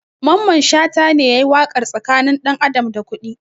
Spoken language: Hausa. Mamman shata ne yayi waƙar tsakanin ɗan adam da kuɗi